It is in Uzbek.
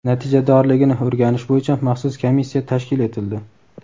natijadorligini o‘rganish bo‘yicha maxsus komissiya tashkil etildi.